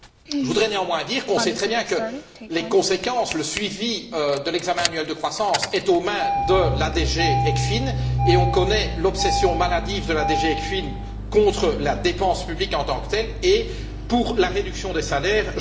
Je voudrais néanmoins dire qu'on sait très bien que les conséquences, le suivi de l'examen annuel de croissance, sont aux mains de la DG ECFIN et on connaît l'obsession maladive de la DG ECFIN contre la dépense publique en tant que telle et pour la réduction des salaires.